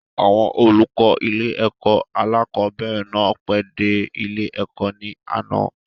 Àwọn olùkọ́ ilé-ẹ̀kọ́ alákọ̀ọ́bẹ̀rẹ̀ náà pẹ́ dé ilé-ẹ̀kọ́ ní àná.